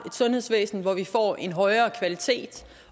sundhedsvæsen hvor vi får en højere kvalitet